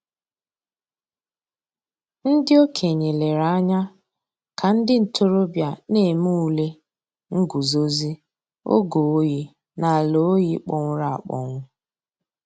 Ǹdí òkènye lèrè ànyà kà ńdí ntòròbịa nà-èmè ǔlè ngùzòzì ògè òyì n'àlà òyì kpọ̀nwụrụ̀ àkpọnwụ̀.